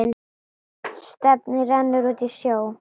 Stefnið rennur út í sjóinn.